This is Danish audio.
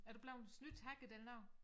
Er du blevet snydt hacket eller noget